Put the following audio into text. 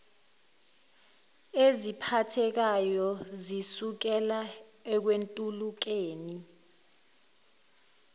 eziphathekayo zisukela ekwentulekeni